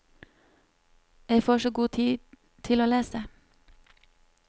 Jeg får så god tid til å lese.